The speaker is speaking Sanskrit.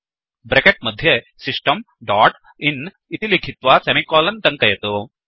ब्रेकेट् मध्ये सिस्टम् डोट् इन् इति लिखित्वा सेमिकोलन् टङ्कयतु